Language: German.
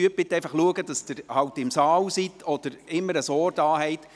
Bitte achten Sie darauf, im Saal zu sein, oder immer ein Ohr da zu haben.